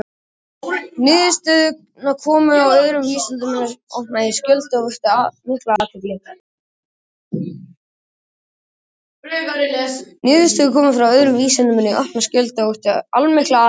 Niðurstöðurnar komu öðrum vísindamönnum í opna skjöldu og vöktu allmikla athygli.